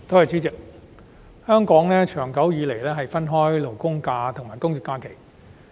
主席，香港長久以來分開法定假日和公眾假期。